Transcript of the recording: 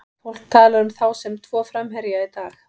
Fólk talar um þá sem tvo framherja í dag.